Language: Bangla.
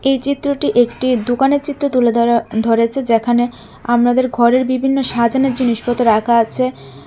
এই চিত্রটি একটি দুকানের চিত্র তুলে ধরা ধরেছে যেখানে আমাদের ঘরের বিভিন্ন সাজানের জিনিসপত্র রাখা আছে।